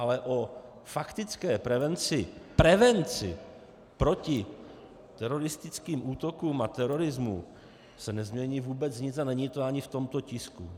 Ale o faktické prevenci, prevenci proti teroristickým útokům a terorismu, se nezmění vůbec nic a není to ani v tomto tisku.